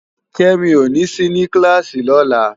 Kemi ó ni si ni kilási lòlá